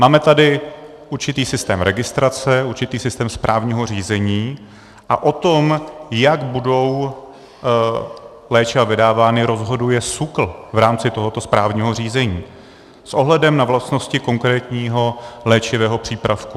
Máme tady určitý systém registrace, určitý systém správního řízení a o tom, jak budou léčiva vydávána, rozhoduje SÚKL v rámci tohoto správního řízení s ohledem na vlastnosti konkrétního léčivého přípravku.